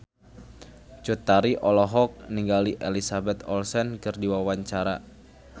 Cut Tari olohok ningali Elizabeth Olsen keur diwawancara